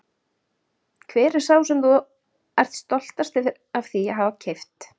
Hver er sá sem þú ert stoltastur af því að hafa keypt?